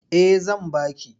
Eh zan ba ki.